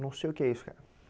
Não sei o que é isso, cara.